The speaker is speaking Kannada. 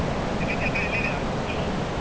ಎಲ್ಲಿದ್ಯಾ ಚೈತ್ರ ಎಲ್ಲಿದ್ಯಾ?